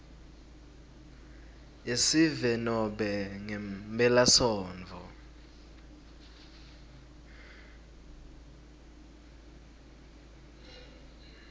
yesive nobe ngemphelasontfo